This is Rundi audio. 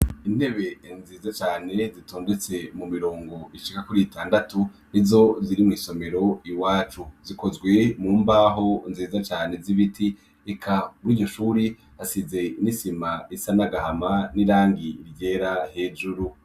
Intebe nziza cane zitondetse mu mirongo ishika kuri itandatu izo ziri mu isomero iwacu zikozwe mu mbaho nziza cane zibiti eka r'igishuri hasize inisima isanagahama n'irangi ryera hejuru.